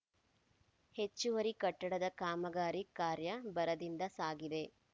ಹೆಚ್ಚುವರಿ ಕಟ್ಟಡದ ಕಾಮಗಾರಿ ಕಾರ್ಯ ಭರದಿಂದ ಸಾಗಿದೆ